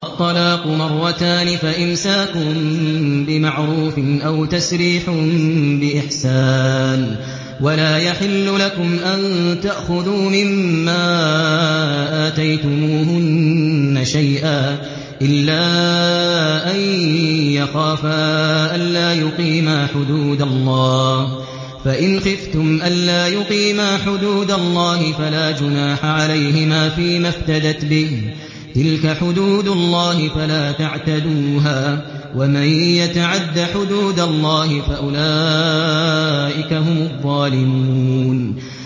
الطَّلَاقُ مَرَّتَانِ ۖ فَإِمْسَاكٌ بِمَعْرُوفٍ أَوْ تَسْرِيحٌ بِإِحْسَانٍ ۗ وَلَا يَحِلُّ لَكُمْ أَن تَأْخُذُوا مِمَّا آتَيْتُمُوهُنَّ شَيْئًا إِلَّا أَن يَخَافَا أَلَّا يُقِيمَا حُدُودَ اللَّهِ ۖ فَإِنْ خِفْتُمْ أَلَّا يُقِيمَا حُدُودَ اللَّهِ فَلَا جُنَاحَ عَلَيْهِمَا فِيمَا افْتَدَتْ بِهِ ۗ تِلْكَ حُدُودُ اللَّهِ فَلَا تَعْتَدُوهَا ۚ وَمَن يَتَعَدَّ حُدُودَ اللَّهِ فَأُولَٰئِكَ هُمُ الظَّالِمُونَ